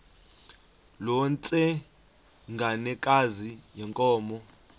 loo ntsengwanekazi yenkomo